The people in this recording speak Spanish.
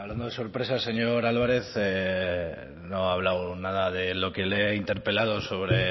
hablando de sorpresas señor álvarez no ha hablado nada de lo que le he interpelado sobre